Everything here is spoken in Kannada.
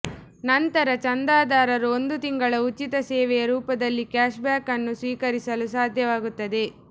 ನಂತರ ಚಂದಾದಾರರು ಒಂದು ತಿಂಗಳ ಉಚಿತ ಸೇವೆಯ ರೂಪದಲ್ಲಿ ಕ್ಯಾಶ್ಬ್ಯಾಕ್ ಅನ್ನು ಸ್ವೀಕರಿಸಲು ಸಾಧ್ಯವಾಗುತ್ತದೆ